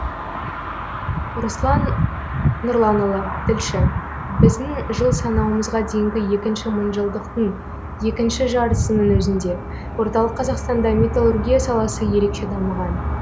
руслан нұрланұлы тілші біздің жыл санауымызға дейінгі екінші мыңжылдықтың екінші жартысының өзінде орталық қазақстанда металлургия саласы ерекше дамыған